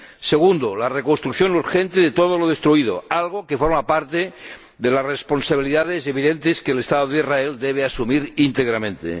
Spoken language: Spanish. Segundo la reconstrucción urgente de todo lo destruido, algo que forma parte de las responsabilidades evidentes que el Estado de Israel debe asumir íntegramente.